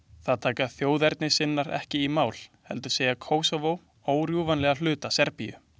Það taka þjóðernissinnar ekki í mál, heldur segja Kósóvó órjúfanlegan hluta Serbíu.